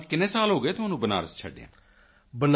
ਤਾਂ ਕਿੰਨੇ ਸਾਲ ਹੋ ਗਏ ਤੁਹਾਨੂੰ ਬਨਾਰਸ ਛੱਡਿਆਂ